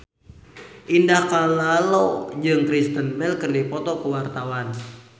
Indah Kalalo jeung Kristen Bell keur dipoto ku wartawan